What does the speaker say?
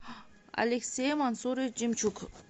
алексей мансурович демчук